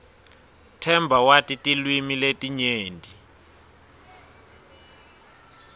themba wati tilwimi letinyenti